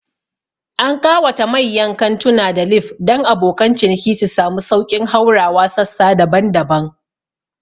An ƙawata mayyan kantuna da lif dan abokan ciniki su samu sauƙin haurawa sassa daban-daban